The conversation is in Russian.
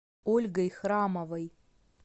ольгой храмовой